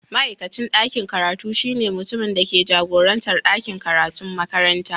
Ma'aikacin dakin karatu shine mutumin da ke jagorantar ɗakin karatun makaranta.